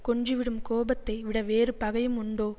கொன்றுவிடும் கோபத்தை விட வேறு பகையும் உண்டோ